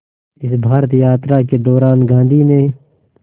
इस भारत यात्रा के दौरान गांधी ने